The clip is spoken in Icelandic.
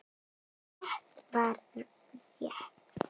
Rétt var rétt.